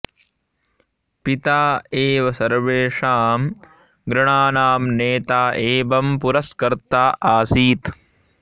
पिता एव सर्वेषां गृहाणां नेता एवं पुरस्कर्त्ता आसीत्